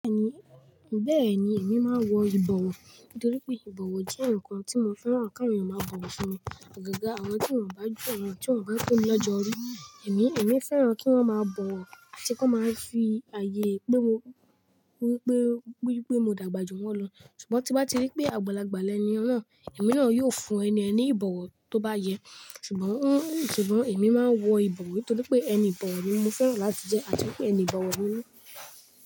Bẹ́ẹ̀ni, bẹ́ẹ̀ni, èmi máa ń wọ ìbọ̀wọ̀ nítorí pé ìbọ̀wọ̀ jẹ́ ǹkan tí mo fẹ́ran kí àwọn ènìyàn máa bọ̀wọ̀ fún mi. Ọ̀gágà àwọn tí wọn bá jù, àwọn tí wọn bá tó mi lọ́jọ́ orí, èmi, èmi fẹ́ran kí wọ́n máa bọ̀wọ̀ àti kí wọ́n máa fi ààyè pé mo, wípé, wípé mo dàgbà jù wọ́n lọ. Ṣùgbọ́n tí wọ́n bá rí pé àgbàlagbà ẹni náà, èmi náà yóò fún ẹni ẹni ìbọ̀wọ̀ tó bá yẹ. Ṣùgbọ́n, Ṣùgbọ́n èmi máa ń wọ ìbọ̀wọ̀ nítorí pé ẹni ìbọ̀wọ̀ ni mo fẹ́ran láti jẹ́ àti pé ẹni ìbọ̀wọ̀ ni mí.